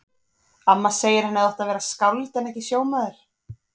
Amma segir að hann hefði átt að verða skáld en ekki sjómaður.